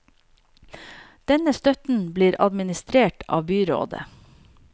Denne støtten blir administrert av byrådet.